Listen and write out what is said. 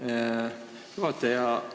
Aitäh, juhataja!